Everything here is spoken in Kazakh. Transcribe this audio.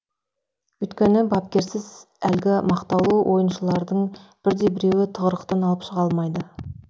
өйткені бапкерсіз әлгі мақтаулы ойыншылардың бірде біреуі тығырықтан алып шыға алмайды